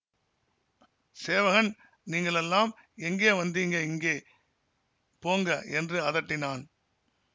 சேவகன் நீங்கள் எல்லாம் எங்கே வந்தீங்க இங்கே போங்க என்று அதட்டினான்